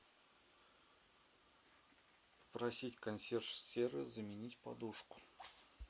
просить консьерж сервис заменить подушку